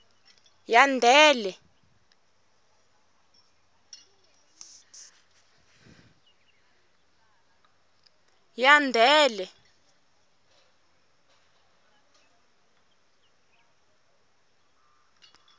yandele